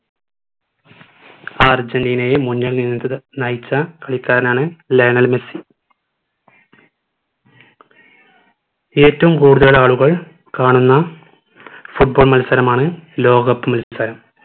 ആ അർജന്റീനയെ മുന്നിൽ നിന്ന് നയിച്ച കളിക്കാരനാണ് ലയണൽ മെസ്സി ഏറ്റവും കൂടുതൽ ആളുകൾ കാണുന്ന football മൽസരമാണ് ലോക cup മത്സരം